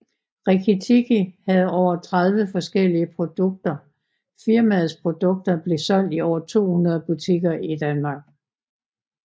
Rikki Tikki havde over 30 forskellige produkter Firmaets produkter blev solgt i over 200 butikker i Danmark